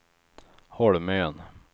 Holmön